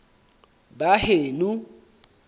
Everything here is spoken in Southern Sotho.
baheno